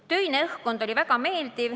Töine õhkkond oli väga meeldiv.